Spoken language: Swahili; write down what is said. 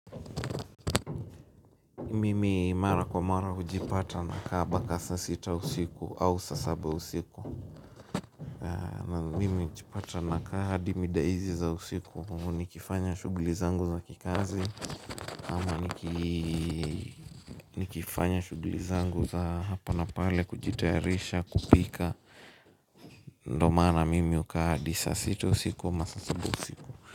Mimi mara kwa mara hujipata nakaa mpaka saa sita usiku au saa saba usiku mimi hujipata nakaa hadi mida hizi za usiku nikifanya shuguli zangu za kikazi ama nikifanya shuguli zangu za hapa na pale kujitayarisha kupika ndo maana mimi huka hadi saa sita usiku ama saa saba usiku.